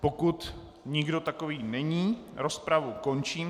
Pokud nikdo takový není, rozpravu končím.